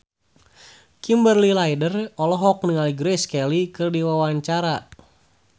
Kimberly Ryder olohok ningali Grace Kelly keur diwawancara